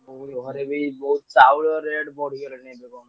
ବୋଉ ଘରେ ବି ବୋଉ ଚାଉଳ rate ବଢିଗଲାଣି ଏବେ କଣ।